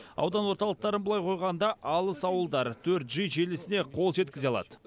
аудан орталықтарын былай қойғанда алыс ауылдар төрт джи желісіне қол жеткізе алады